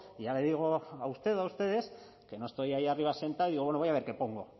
ya le digo a usted o a ustedes que no estoy ahí arriba sentado y digo bueno voy a ver qué pongo